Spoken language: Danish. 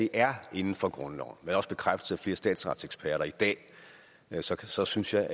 er inden for grundloven hvad der også bekræftes af flere statsretseksperter i dag så synes jeg